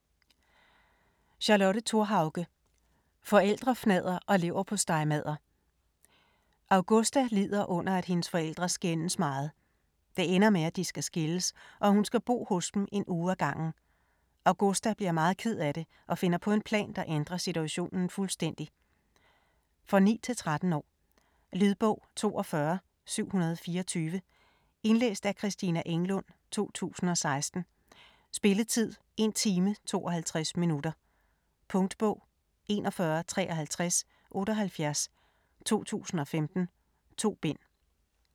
Thorhauge, Charlotte: Forældrefnadder og leverpostejmadder Augusta lider under at hendes forældre skændes meget. Det ender med at de skal skilles og at hun skal bo hos dem en uge ad gangen. Augusta bliver meget ked af det og finder på en plan, der ændrer situationen fuldstændig. For 9-13 år. Lydbog 42724 Indlæst af Christina Englund, 2016. Spilletid: 1 time, 52 minutter. Punktbog 415378 2015. 2 bind.